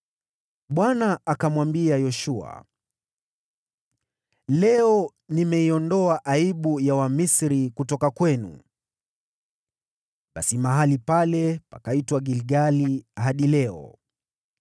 Bwana akamwambia Yoshua, “Leo nimeiondoa aibu ya Wamisri kutoka kwenu.” Basi mahali pale pakaitwa Gilgali hadi leo.